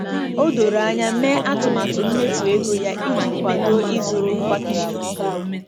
O doro anya mee atụmatụ mmefu ego ya iji kwado ịzụrụ ngwa kichin ọhụrụ.